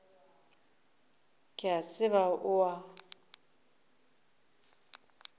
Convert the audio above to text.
ke a tseba o a